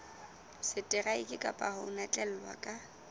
seteraeke kapa ho notlellwa ka